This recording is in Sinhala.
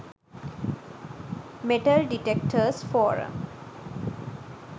metal detectors forum